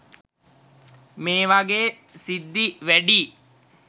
මේ වගේ සිද්ධි වැඩියි.